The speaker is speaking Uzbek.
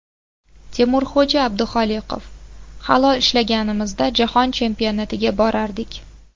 Temurxo‘ja Abduxoliqov: Halol ishlaganimizda, Jahon Chempionatiga borardik.